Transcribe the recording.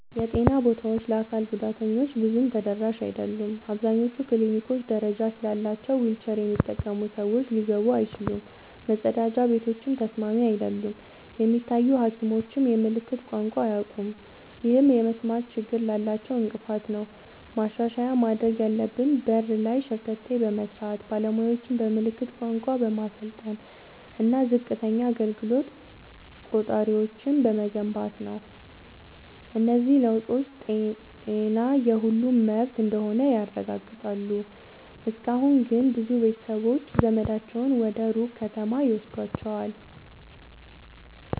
የጤና ቦታዎች ለአካል ጉዳተኞች ብዙም ተደራሽ አይደሉም። አብዛኞቹ ክሊኒኮች ደረጃ ስላላቸው ዊልቸር የሚጠቀሙ ሰዎች ሊገቡ አይችሉም፤ መጸዳጃ ቤቶችም ተስማሚ አይደሉም። የሚታዩ ሐኪሞችም የምልክት ቋንቋ አያውቁም፣ ይህም የመስማት ችግር ላላቸው እንቅፋት ነው። ማሻሻያ ማድረግ ያለብን በር ላይ ሸርተቴ በመስራት፣ ባለሙያዎችን በምልክት ቋንቋ በማሰልጠን እና ዝቅተኛ አገልግሎት ቆጣሪዎችን በመገንባት ነው። እነዚህ ለውጦች ጤና የሁሉም መብት እንደሆነ ያረጋግጣሉ። እስካሁን ግን ብዙ ቤተሰቦች ዘመዳቸውን ወደ ሩቅ ከተማ ይወስዷቸዋል።